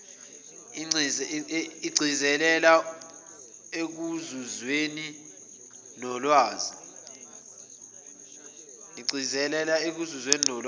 igcizelela ekuzuzweni kolwazi